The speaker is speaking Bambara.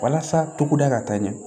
Walasa togoda ka taa ɲɛ